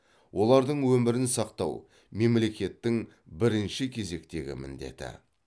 олардың өмірін сақтау мемлекеттің бірінші кезектегі міндеті